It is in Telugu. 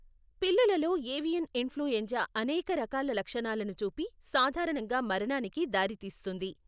పిల్లలలో ఏవియన్ ఇన్ఫ్లుఎంజా అనేక రకాల లక్షణాలను చూపి, సాధారణంగా మరణానికి దారితీస్తుంది.